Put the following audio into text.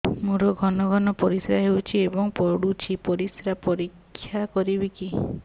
ମୋର ଘନ ଘନ ପରିସ୍ରା ହେଉଛି ଏବଂ ପଡ଼ୁଛି ପରିସ୍ରା ପରୀକ୍ଷା କରିବିକି